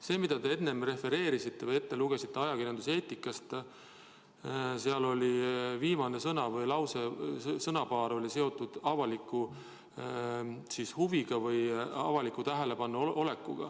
See, mida te enne ajakirjanduseetikast rääkides refereerisite või ette lugesite – seal oli lause lõpus märgitud avalikku huvi või avaliku tähelepanu all olekut.